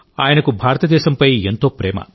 ఆయనకు భారతదేశంపై ఎంతో ప్రేమ